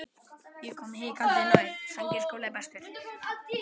Ég kom hikandi nær.